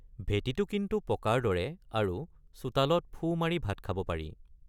ভেটিটো কিন্তু পকাৰ দৰে আৰু চোতালত ফু মাৰি ভাত খাব পাৰি।